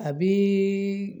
A bi